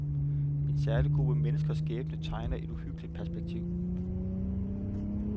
En særlig gruppe menneskers skæbne tegner et uhyggeligt perspektiv.